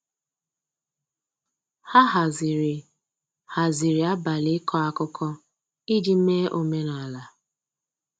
ha haziri haziri abali iko akụkọ iji mee omenala.